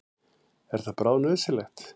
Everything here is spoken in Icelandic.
Er það bráðnauðsynlegt?